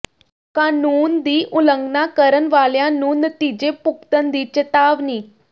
ਕਾਨੂੰਨ ਦੀ ਉਲੰਘਣਾ ਕਰਨ ਵਾਲਿਆਂ ਨੂੰ ਨਤੀਜੇ ਭੁਗਤਣ ਦੀ ਚੇਤਾਵਨੀ